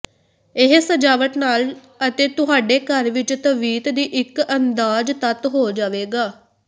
ਇਹ ਸਜਾਵਟ ਨਾਲ ਅਤੇ ਤੁਹਾਡੇ ਘਰ ਵਿੱਚ ਤਵੀਤ ਦੀ ਇੱਕ ਅੰਦਾਜ਼ ਤੱਤ ਹੋ ਜਾਵੇਗਾ